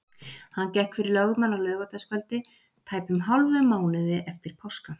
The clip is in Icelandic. Hann gekk fyrir lögmann á laugardagskvöldi, tæpum hálfum mánuði eftir páska.